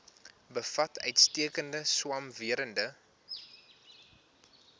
bevat uitstekende swamwerende